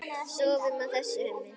Sofum á þessu, Hemmi.